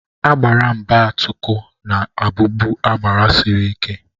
Agbara mbatuku na-abubu agbara sịrị ike.